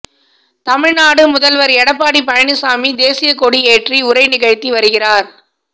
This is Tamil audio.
தமிழ்நாடு முதல்வர் எடப்பாடி பழனிச்சாமி தேசியக் கொடி ஏற்றி உரை நிகழ்த்தி வருகிறார்